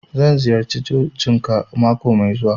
Zan ziyarce cocin ka mako mai zuwa.